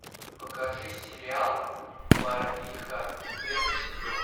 покажи сериал барвиха первый сезон